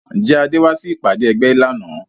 Ǹjẹ́ Adé wá sí ìpàdé ẹgbẹ́ lánàá